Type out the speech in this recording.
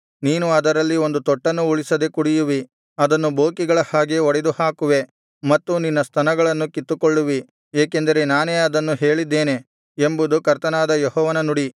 ನೀನು ಅದರಲ್ಲಿ ಒಂದು ತೊಟ್ಟನ್ನೂ ಉಳಿಸದೆ ಕುಡಿಯುವಿ ಅದನ್ನು ಬೋಕಿಗಳ ಹಾಗೆ ಒಡೆದುಹಾಕುವೆ ಮತ್ತು ನಿನ್ನ ಸ್ತನಗಳನ್ನು ಕಿತ್ತುಕೊಳ್ಳುವಿ ಏಕೆಂದರೆ ನಾನೇ ಅದನ್ನು ಹೇಳಿದ್ದೇನೆ ಎಂಬುದು ಕರ್ತನಾದ ಯೆಹೋವನ ನುಡಿ